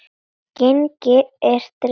Genginn er drengur góður.